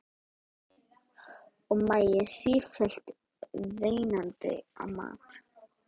Og maginn sífellt veinandi á mat.